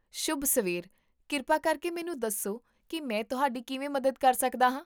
ਸ਼ੁਭ ਸਵੇਰ, ਕਿਰਪਾ ਕਰਕੇ ਮੈਨੂੰ ਦੱਸੋ ਕੀ ਮੈਂ ਤੁਹਾਡੀ ਕਿਵੇਂ ਮਦਦ ਕਰ ਸਕਦਾ ਹਾਂ?